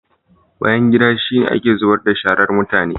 Bayangida shi ne ake zubar da sharar mutane.